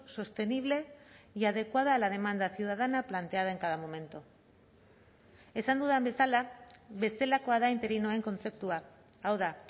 sostenible y adecuada a la demanda ciudadana planteada en cada momento esan dudan bezala bestelakoa da interinoen kontzeptua hau da